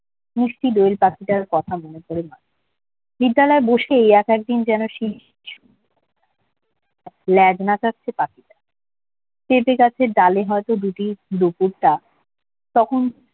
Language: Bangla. মিষ্টি দোয়েল পাখিটার কথা মনে পড়ে যাই বিদ্যালয়ে বসে এক একদিন যেন সে লেজ নাচাচ্ছে পাখিটা পেঁপে গাছের ডালে হয়তো দুদিন দুপুরটা কখন